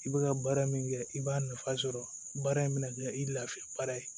I bɛ ka baara min kɛ i b'a nafa sɔrɔ baara in bɛna kɛ i lafiya baara ye